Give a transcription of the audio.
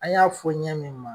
A y'an fɔ ɲɛ min ma